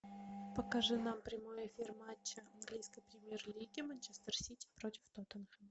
покажи нам прямой эфир матча английской премьер лиги манчестер сити против тоттенхэма